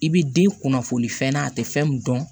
I bi den kunnafoni fɛn na a te fɛn mi dɔn